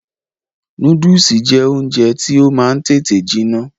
Núdùsì jẹ́ oúnjẹ tí ó máa ń tètè jiná